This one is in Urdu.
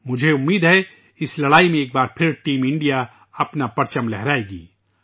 مجھے امید ہے کہ اس جنگ میں ایک بار پھر ٹیم انڈیا اپنا جھنڈا لہرائے گی